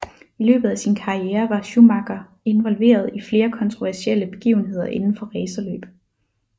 I løbet af sin karriere var Schumacher involveret i flere kontroversielle begivenheder inden for racerløb